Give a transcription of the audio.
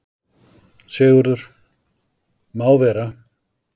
SIGURÐUR: Má vera.